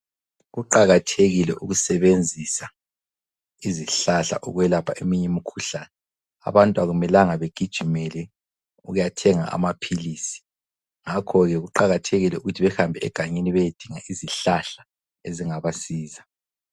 Kuqakathekile ukusebenzisa izihlahla ukwelapha eminye imikhuhlane .Abantu akumelanga begijimele ukuyathenga amaphilisi, ngakho ke kuqakathekile ukuthi behambe egangeni beyedinga izihlahla ezingabasiza.